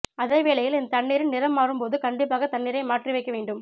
அதேவேளையில் இந்த தண்ணீரின் நிறம் மாறும் போது கண்டிப்பாக தண்ணீரை மாற்றி வைக்க வேண்டும்